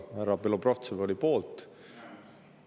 Härra Belobrovtsev oli poolt.